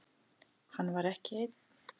Hann var ekki einn.